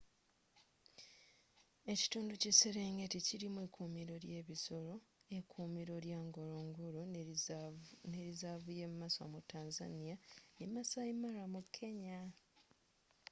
ekitundu ky'eserengeti kilimu ekuumiro ly'ebisoro ekuumiro ly'e ngorongoro nelizaavu ye maswa mu tanzania ne maasai mara mu kenya